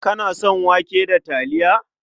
Kana son wake da taliya?